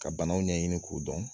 Ka banaw ɲɛɲini k'o dɔn